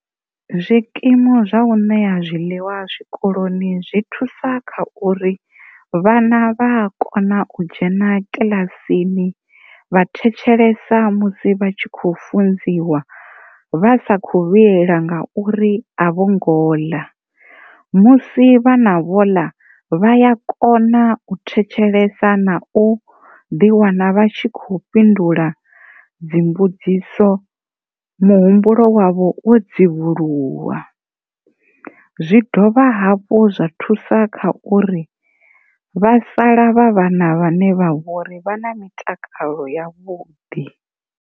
Zwikimu zwa u ṋea zwiḽiwa zwikoloni zwi thusa kha uri vhana vha a kona u dzhena kiḽasini vha thetshelesa musi vha tshi kho funziwa vha sa kho vhilela ngauri a vho ngo ḽa musi vhana vho ḽa vha a kona thetshelesa na u ḓi wana vha tshi kho fhindula mbudziso muhumbulo wavho wo dzivhuluwa, zwi dovha hafhu zwa thusa kha uri vha sala vha vhana vhane vha vhori vha na mitakalo ya vhuḓi.